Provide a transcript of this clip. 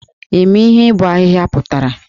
Ị ma ihe ibọ ahịhịa pụtara?